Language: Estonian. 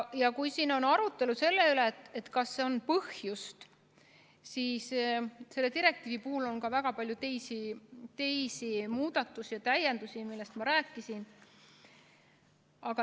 Ja kui siin on arutelu selle üle, kas on põhjust, siis selle direktiivi puhul on ka väga palju teisi muudatusi ja täiendusi, millest ma rääkisin.